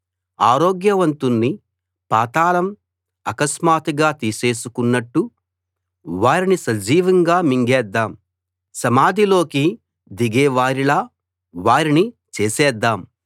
ఆరోగ్య వంతుణ్ణి పాతాళం అకస్మాత్తుగా తీసేసుకున్నట్టు వారిని సజీవంగా మింగేద్దాం సమాధిలోకి దిగే వారిలా వారిని చేసేద్దాం